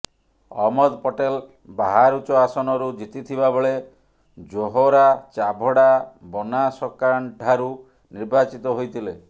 ଅହମ୍ମଦ ପଟେଲ ବାହାରୁଚ ଆସନରୁ ଜିତିଥିବା ବେଳେ ଜୋହରା ଚାଭଡ଼ା ବନାଶକାଣ୍ଠାରୁ ନିର୍ବାଚିତ ହୋଇଥିଲେ